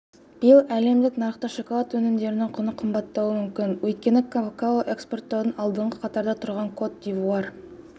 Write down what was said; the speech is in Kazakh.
биыл әлемдік нарықта шоколад өнімдерінің құны қымбаттауы мүмкін өйткені какао экспорттаудан алдыңғы қатарда тұрған кот дивуар